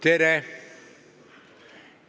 Tere!